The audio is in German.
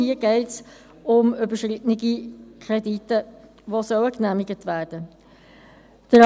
Hier geht es um überschrittene Kredite, die genehmigt werden sollen.